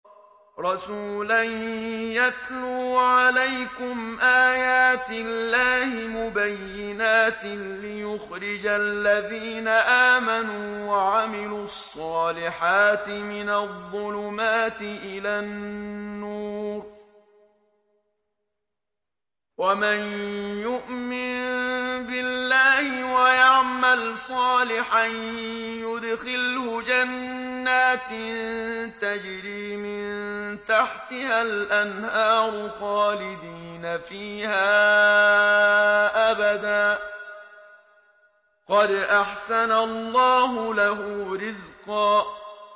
رَّسُولًا يَتْلُو عَلَيْكُمْ آيَاتِ اللَّهِ مُبَيِّنَاتٍ لِّيُخْرِجَ الَّذِينَ آمَنُوا وَعَمِلُوا الصَّالِحَاتِ مِنَ الظُّلُمَاتِ إِلَى النُّورِ ۚ وَمَن يُؤْمِن بِاللَّهِ وَيَعْمَلْ صَالِحًا يُدْخِلْهُ جَنَّاتٍ تَجْرِي مِن تَحْتِهَا الْأَنْهَارُ خَالِدِينَ فِيهَا أَبَدًا ۖ قَدْ أَحْسَنَ اللَّهُ لَهُ رِزْقًا